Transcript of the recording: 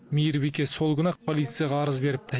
мейірбике сол күні ақ полицияға арыз беріпті